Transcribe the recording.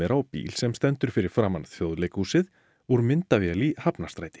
á bíl sem stendur fyrir framan Þjóðleikhúsið úr myndavél í Hafnarstræti